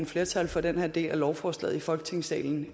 flertal for den her del af lovforslaget i folketingssalen